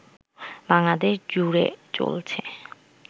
বাংলাদেশ জুড়ে চলছে